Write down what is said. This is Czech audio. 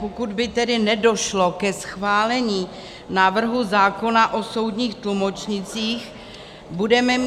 Pokud by tedy nedošlo ke schválení návrhu zákona o soudních tlumočnících, budeme mít -